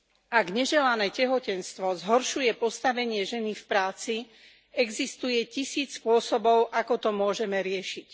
Ak neželané tehotenstvo zhoršuje postavenie ženy v práci, existuje tisíc spôsobov, ako to môžeme riešiť.